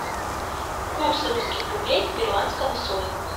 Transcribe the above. курс русских рублей к перуанскому солю